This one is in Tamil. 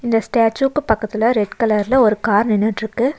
அந்த ஸ்டாச்சூ பக்கத்துல ரெட் கலர்ல ஒரு கார் நின்னுட்ருக்கு.